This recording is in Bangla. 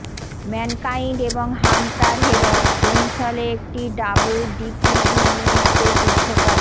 ম্যানকাইন্ড এবং হান্টার হেরস্ট হেমসলে একটি ডাবল ডিকিউউউতে যুদ্ধ করেন